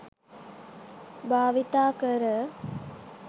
භාවිතා කර